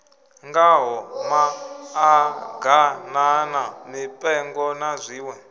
ngaho maḓaganana mipengo na zwiṋwe